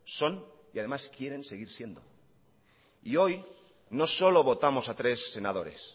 son y además quieren seguir siendo y hoy no solo votamos a tres senadores